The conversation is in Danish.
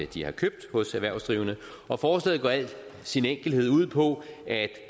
de har købt hos erhvervsdrivende og forslaget går i al sin enkelhed ud på at